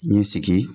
N ye sigi